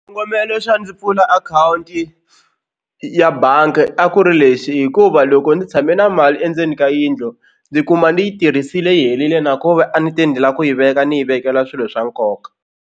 Xikongomelo xa ndzi pfula akhawunti ya bangi a ku ri lexi hikuva loko ndzi tshame na mali endzeni ka yindlu ndzi kuma ndzi yi tirhisile yi herile na ku ve a ni te ni lava ku yi veka ni yi vekela swilo swa nkoka.